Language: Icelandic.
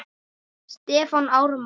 Stefán Ármann.